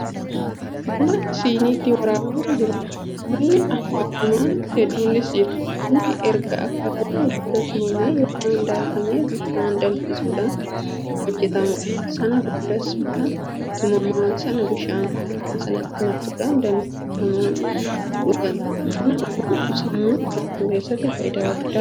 Buna siiniitti waraabamaa jiruudha. buna akaawwamaan hedduunis jira. bunni erga akaawwameen booda tumamee yookaan daakamee bishaan danfisuudhaan hojjatamuudha. sana boodas buna tumamaa sana bishaan hoo'e sinitti naquudhaan danfifama. buna dhuguun sammuu haaromsuu keessatti faayidaa guddaa qaba.